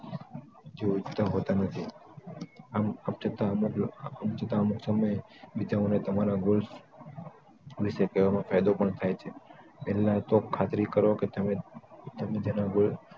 ઇચ્છતા હોતા નથી આમ છતાં અમુક લોકો અમુક સમયે બીજાઓને તમારા goal વિશે કેવામાં ફાયદો પણ થાય છે પહેલા તો ખામી કહો કે તમે તેમના goals